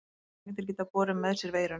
Nagdýr geta borið með sér veiruna.